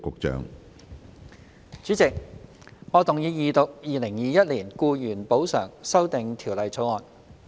主席，我動議二讀《2021年僱員補償條例草案》。